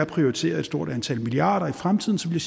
prioritere et stort antal milliarder i fremtiden så ville